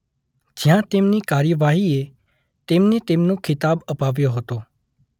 જ્યાં તેમની કાર્યવાહીએ તેમને તેમનો ખિતાબ અપાવ્યો હતો.